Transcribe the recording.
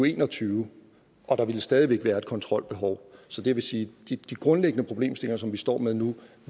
en og tyve og der ville stadig væk være et kontrolbehov så det vil sige at de grundlæggende problemstillinger som vi står med nu